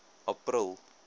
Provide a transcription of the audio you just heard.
april